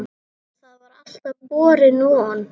Það var alltaf borin von